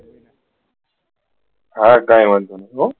હ કઈ વાંધો નહી હા